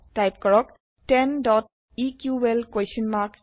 type কৰক 10 eql